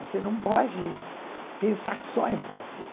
Você não pode pensar só em Brasil.